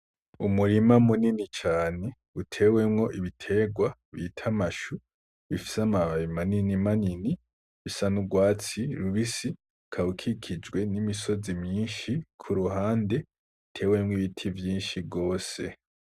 Umurima munini cane utewemwo ibiterwa bita amashu bifise amababi manini manini bisa n'urwatsi rubisi ukaba ukikijwe n'imisozi myinshi kuruhande itewemwo ibiti vyinshi gose.